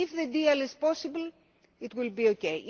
a deal. If the deal is possible, it will